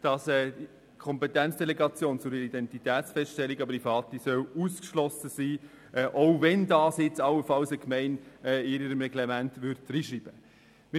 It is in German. Die Delegation der Kompetenz zur Identitätsfeststellung an Private soll ausgeschlossen sein, auch wenn dies eine Gemeinde allenfalls in ein Reglement schreiben würde.